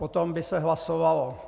Potom by se hlasovalo...